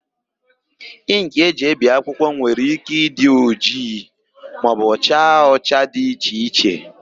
Ịnkị e ji ebi akwụkwọ nwere ike ịdị ojii maọbụ cha ụcha dị iche iche.